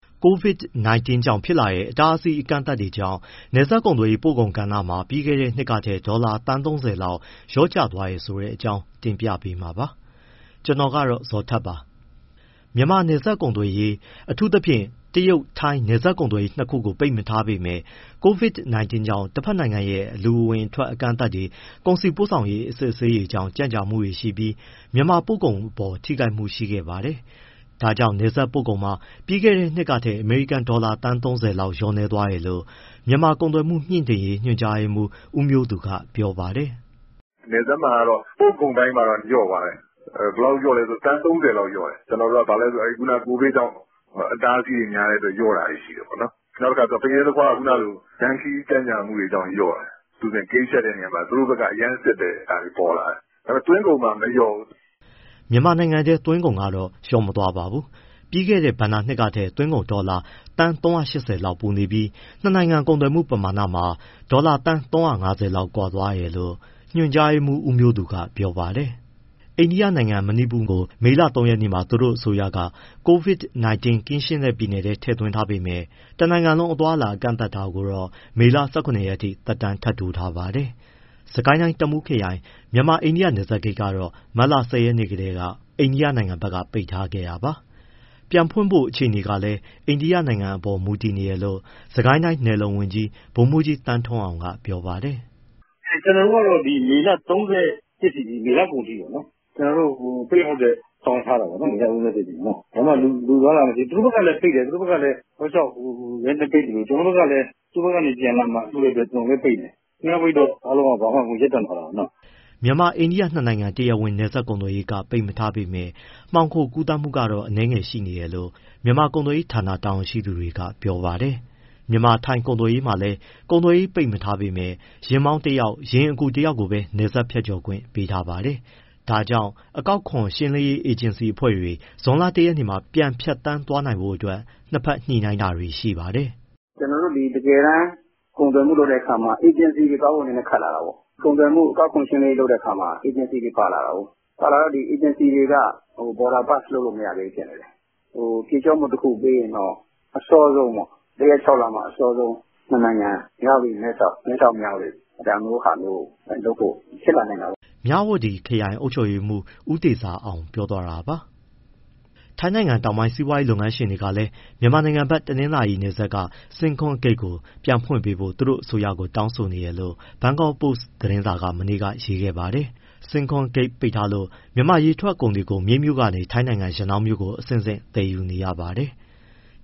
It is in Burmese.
COVID-19 ကြောင့်ဖြစ်လာတဲ့ အတားအဆီး အကန့်အသတ်တွေကြောင့် နယ်စပ်ကုန်သွယ်ရေး ပို့ကုန်ကဏ္ဍမှာ ပြီးခဲ့တဲ့နှစ်ကထက် ဒေါ်လာသန်း ၃၀ လောက် လျော့ကျသွားတယ်ဆိုတဲ့အကြောင်းကို ဗွီအိုအေမြန်မာပိုင်းသတင်းထောက် ကိုဇော်ထက်က တင်ပြပေးမှာပါ။ မြန်မာနယ်စပ်ကုန်သွယ်ရေး အထူးသဖြင့် တရုတ်၊ ထိုင်း နယ်စပ်ကုန်သွယ်ရေး နှစ်ခုကို ပိတ်မထားပေမဲ့ COVID-19 ကြောင့် တဘက်နိုင်ငံရဲ့ လူအဝင်အထွက် အကန့်အသတ်တွေ၊ ကုန်စည်ပို့ဆောင်ရေး အစစ်အဆေးတွေကြောင့် ကြန့်ကြာမှုတွေရှိပြီး မြန်မာပို့ကုန်အပေါ် ထိခိုက်မှုရှိခဲ့ပါတယ်။ ဒါကြောင့် နယ်စပ်ပို့ကုန်မှာ ပြီးခဲ့တဲ့နှစ်ကထက် အမေရိကန်ဒေါ်လာ သန်း ၃၀ လျော့နည်းသွားတယ်လို့ မြန်မာ့ကုန်သွယ်မှု မြှင့်တင်ရေး ညွှန်ကြားရေးမှူး ဦးမျိုးသူက ပြောပါတယ်။ “နယ်စပ်မှာတော့ ပို့ကုန်ပိုင်းမှာ လျော့သွားတယ်၊ ဘယ်လောက်လျော့လည်းဆိုတော့ (ဒေါ်လာ) သန်း ၃၀ လောက်လျော့သွားတယ်။ ဘာဖြစ်လို့လဲဆိုတော့ COVID ကြောင့် အတားအဆီးတွေများလို့ လျော့တာတွေရှိတယ်။ ဖရဲ၊ သခွားက လမ်းခရီးကြန့်ကြာမှုတွေကြောင့် လျော့တယ်။ အထူးသဖြင့် ဂိတ်ဖြတ်တဲ့ နေရာမှာ သူတို့ဘက်က အရမ်းစစ်တာတွေ ပေါ်လာတယ်။ ဒါပေမဲ့ သွင်းကုန်မှာ မလျော့ဘူး။” မြန်မာထဲ သွင်းကုန်ကတော့ လျော့မသွားပါဘူး။ ပြီးခဲ့တဲ့ ဘဏ္ဍာနှစ်ထက် သွင်းကုန် ဒေါ်လာ သန်း ၃၈၀ လောက်ပိုနေပြီး၊ နှစ်နိုင်ငံ ကုန်သွယ်ပမာဏမှာ ဒေါ်လာသန်း ၃၅၀ လောက်ကွာဟသွားပါတယ်လို့ ညွှန်ကြားရေးမှူး ဦးမျိုးသူကပြောပါတယ်။ အိန္ဒိယနိုင်ငံ မဏိပူပြည်နယ်ကို မေလ ၃ ရက်မှာ သူတို့အစိုးရက COVID-19 ကင်းရှင်းတဲ့ပြည်နယ် (Green Zone) ထဲ ထည့်သွင်းထားပေမဲ့ တနိုင်ငံလုံး အသွားအလာကန့်သတ်တာကိုတော့ မေလ ၁၇ ရက်ထိ သက်တမ်းတိုးထားပါတယ်။ စစ်ကိုင်းတိုင်း တမူးခရိုင် မြန်မာ- အိန္ဒိယနယ်စပ်ဂိတ်ကတော့ မတ်လ ၁၀ ရက်ကတည်းက အိန္ဒိယဘက်က ပိတ်ထားခဲ့တာပါ။ ပြန်ဖွင့်ဖို့က အိန္ဒိယနိုင်ငံရဲ့ အခြေအနေတွေအပေါ် မူတည်နေတယ်လို့ စစ်ကိုင်းတိုင်း နယ်လုံဝန်ကြီး ဗိုလ်မှူးကြီး သန်းထွန်းအောင်က ပြောပါတယ်။ “ကျနော်တို့ကတော့ မေလ ၃၁ အထိ မေလကုန်အထိပေါ့နော်၊ ပိတ်ဖို့အတွက် ဆောင်ရွက်ထားတာပေါ့။ ဘာမှ လူအသွားအလာမရှိ။ သူတို့ဘက်ကလည်း ပိတ်တယ်၊ တောက်လျှောက်ပိတ်သလို ကျနော်တို့ဘက်ကလည်း သူတို့ဘက်ကနေ ပြန်လာမှာစိုးတဲ့အတွက် ပိတ်တယ်။ နှစ်ယောက်ပိတ်တော့ အားလုံးက ရပ်တန့်သွားတာပေါ့နော်။” မြန်မာ- အိန္ဒိယနှစ်နိုင်ငံ တရားဝင်နယ်စပ်ကုန်သွယ်ရေးက ပိတ်ထားပေမဲ့ မှောင်ခိုကူးသန်းမှုကတော့ အနည်းငယ်ရှိနေတယ်လို့ မြန်မာကုန်သွယ်ရေးဌာန တာဝန်ရှိသူတွေက ပြောပါတယ်။ မြန်မာ- ထိုင်းကုန်သွယ်ရေးမှာလည်း ကုန်သွယ်ရေးမပိတ်ပေမဲ့ ယာဉ်မောင်းတယောက်၊ ယာဉ်အကူတယောက်ပဲ နယ်စပ်ဖြတ်ကျော်ခွင့်ရှိပါတယ်။ ဒါကြောင့် အကောက်ခွန်ရှင်းလင်းရေး အေဂျင်စီအဖွဲ့တွေ ဇွန်လ ၁ရက်မှာ ဖြတ်သန်းသွားနိုင်ခွင့်ရဖို့ နှစ်ဘက်ညှိနှိုင်းတာလည်း ရှိပါတယ်။ “ကျနော်တို့ တကယ်တမ်း ကုန်သွယ်မှုလုပ်တဲ့အခါမှာ အေဂျင်စီတွေသွားဖို့ နည်းနည်းခက်လာတာပေါ့။ ကုန်သွယ်ရေး အကောက်ခွန်လုပ်တဲ့အခါ အေဂျင်စီတွေ ပါလာတာကိုး။ အေဂျင်စီတွေက border pass ( နယ်စပ်ဖြတ်ခွင့်) လုပ်လို့ မရသေးဘူးဖြစ်နေတယ်။ ဖြေလျှော့မှုတခုပေးရင်တော့ ၁ ရက် ၆ လ အစောဆုံး ပေးရင်တော့ ၂နိုင်ငံ မြဝတီ- မဲဆောက်၊ မဲဆောက်- မြဝတီ ဒါမျိုးဟာမျိုး ဖြစ်လာနိုင်တာပေါ့။” မြဝတီခရိုင်အုပ်ချုပ်ရေးမှူး ဦးတေဇာအောင် ပြောသွားတာပါ။ ထိုင်းတောင်ပိုင်း စီးပွားရေးလုပ်ငန်းရှင်တွေကလည်း မြန်မာနိုင်ငံဘက် တနင်္သာရီတိုင်း Singkhon ဂိတ်ကို ပြန်ဖွင့်ပေးဖို့ သူတို့ အစိုးရကို တောင်းဆိုနေတယ်လို့ Bangkok Post သတင်းစာက မနေ့က ရေးခဲ့ပါတယ်။ Singkhon ဂိတ်ပိတ်ထားလို့ မြန်မာရေထွက်ကုန်တွေကို မြိတ်မြို့ကနေ ထိုင်းနိုင်ငံ ရနောင်းမြို့ကို အဆင့်ဆင့် သယ်ယူနေရပါတယ်။